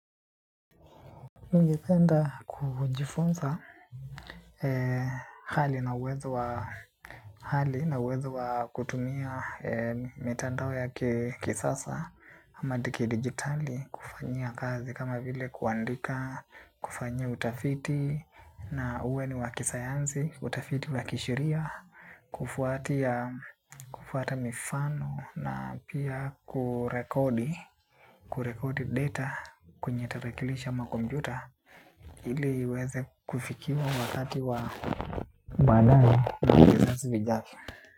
Ningependa kujifunza hali na uwezo wa kutumia mitandao ya kisasa ama kidigitali, kufanyia kazi kama vile kuandika, kufanya utafiti na uwe ni wakisayansi, utafiti wakisheria, kufuatia, kufuata mifano na pia kurekodi. Kurekodi data kwenye tarakilishi komputa ili iweze kufikia wakati wa mwanana.